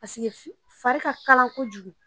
Paeke fari ka kalan kojugu